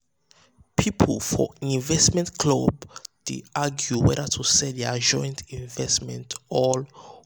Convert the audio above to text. people for investment club dey argue whether to sell their joint investment or hold am.